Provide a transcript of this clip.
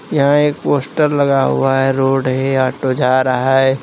यह एक पोस्टर लगा हुआ है रोड है ऑटो जा रहा है।